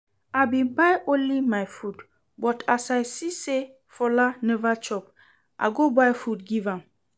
I bin buy only my food, but as I see say Fola never chop I go buy food give am